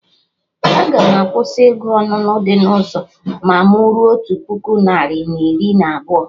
Aga m akwụsị ịgụ onunu dị na ụzọ ma mụ ruo otu puku narị na iri na abụọ